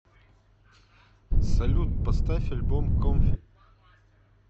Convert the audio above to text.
салют поставь альбом комфи